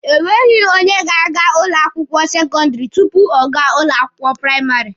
Enweghị onye ga-aga ụlọ akwụkwọ sekọndịrị tupu ọ gaa ụlọ akwụkwọ praịmarị.